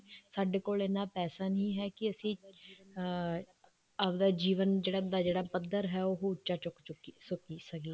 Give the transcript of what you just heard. ਸਾਡੇ ਕੋਲ ਇੰਨਾ ਪੈਸਾ ਨਹੀਂ ਹੈ ਕੇ ਅਸੀਂ ਅਮ ਆਪਣਾ ਜੀਵਨ ਦਾ ਜਿਹੜਾ ਪੱਧਰ ਹੈ ਉਹ ਉੱਚਾ ਚੁੱਕ ਸ੍ਕ ਸਕੀਏ